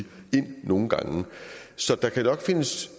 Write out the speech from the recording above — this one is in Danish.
nogle gange så der kan nok findes